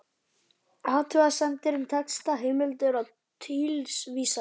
Athugasemdir um texta, heimildir og tilvísanir